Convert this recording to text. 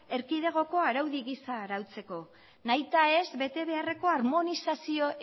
erkidegoko araudi gisa arautzeko nahita ez bete beharreko armonizazio